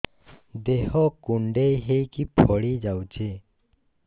ଦେହ କୁଣ୍ଡେଇ ହେଇକି ଫଳି ଯାଉଛି